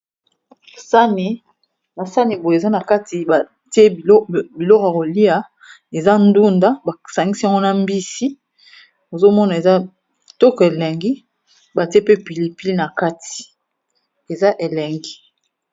Sani, ba sani boye eza na kati batie biloko ya kolia. Eza ndunda ba sangisi yango na mbisi, ozo mona eza kitoko elengi batie pe pili pili na kati eza elengi.